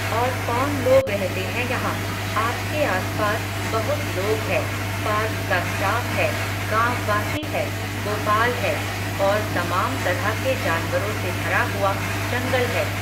और कौन लोग रहते है यहां, आपके आसपास, बहुत लोग है, पार्क का स्टाफ़ है, गांववासी है, गोपाल है, और तमाम तरह के जानवरो से भरा हुआ, जंगल है